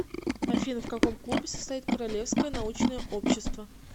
афина в каком клубе состоит королевское научное общество